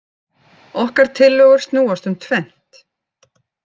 Okkar tillögur snúast um tvennt